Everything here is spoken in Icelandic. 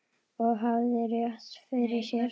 Og hafði rétt fyrir sér.